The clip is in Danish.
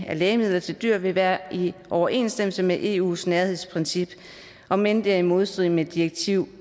af lægemidler til dyr vil være i overensstemmelse med eus nærhedsprincip om end det er i modstrid med direktiv